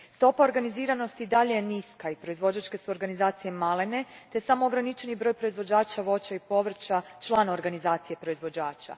Stopa organiziranosti i dalje je niska i proizvođačke su organizacije male te je samo ograničeni broj proizvođača voća i povrća član organizacije proizvođača.